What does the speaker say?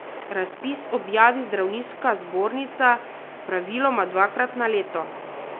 Razpis objavi zdravniška zbornica, praviloma dvakrat na leto.